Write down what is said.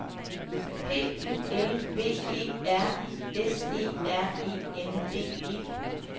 P U L V E R I S E R E N D E